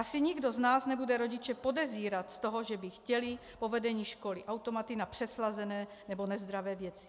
Asi nikdo z nás nebude rodiče podezírat z toho, že by chtěli po vedení školy automaty na přeslazené nebo nezdravé věci.